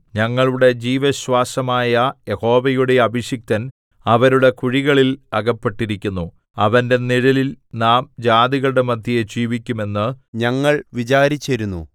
ഞങ്ങളുടെ ജീവശ്വാസമായ യഹോവയുടെ അഭിഷിക്തൻ അവരുടെ കുഴികളിൽ അകപ്പെട്ടിരിക്കുന്നു അവന്റെ നിഴലിൽ നാം ജാതികളുടെ മദ്ധ്യേ ജീവിക്കും എന്ന് ഞങ്ങൾ വിചാരിച്ചിരുന്നു